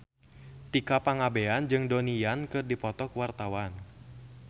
Tika Pangabean jeung Donnie Yan keur dipoto ku wartawan